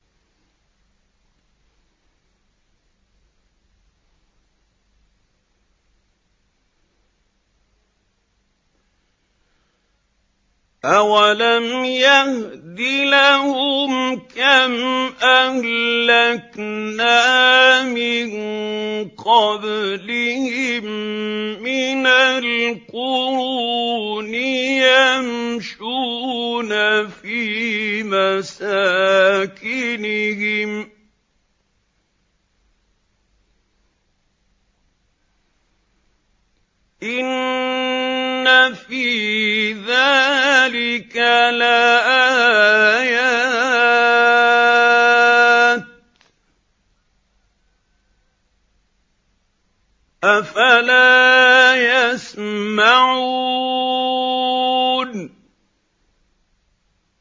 أَوَلَمْ يَهْدِ لَهُمْ كَمْ أَهْلَكْنَا مِن قَبْلِهِم مِّنَ الْقُرُونِ يَمْشُونَ فِي مَسَاكِنِهِمْ ۚ إِنَّ فِي ذَٰلِكَ لَآيَاتٍ ۖ أَفَلَا يَسْمَعُونَ